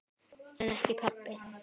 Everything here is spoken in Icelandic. En ekki pabbi.